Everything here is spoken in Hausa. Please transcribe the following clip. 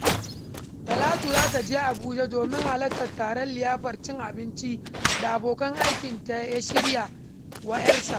Talatu za ta je Abuja domin halartar taron liyafar cin abincin da abokin aikinta ya shirya wa ‘yarsa.